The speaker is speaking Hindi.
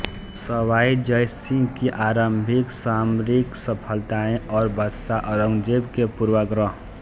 सवाई जयसिंह की आरंभिक सामरिकसफलताएं और बादशाह औरंगजेब के पूर्वाग्रह